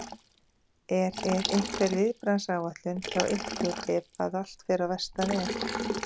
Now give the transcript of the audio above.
Er, er einhver viðbragðsáætlun hjá ykkur ef að allt fer á versta veg?